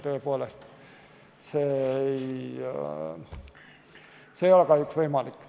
Tõepoolest, see ei ole kahjuks võimalik.